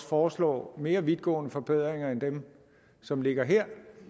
foreslår mere vidtgående forbedringer end dem som ligger her